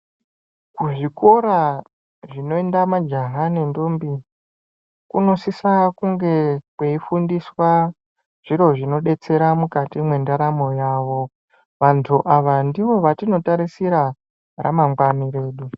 Kuzvikora zvinoenda majaha nendombi kunosisa kunge kweifundiswa zviro zvinodetsera mukati mendaramo yavo vandu ava ndivo vatinotarisira ramgwani redu